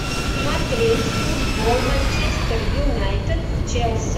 смотреть футбол манчестер юнайтед с челси